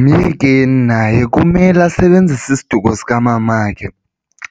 Myekeni naye kumele asebenzise isiduko sikamamakhe